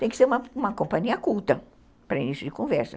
Tem que ser uma uma companhia culta para início de conversa.